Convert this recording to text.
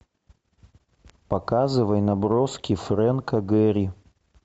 показывай наброски фрэнка гэри